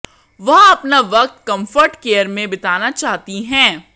वह अपना वक्त कम्फर्ट केयर में बिताना चाहती हैं